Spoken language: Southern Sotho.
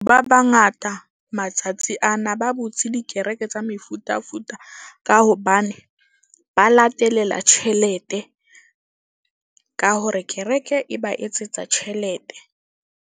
Ba bangata matsatsi ana ba botse dikereke tsa mefutafuta. Ka hobane ba latelela tjhelete ka hore kereke e ba etsetsa tjhelete.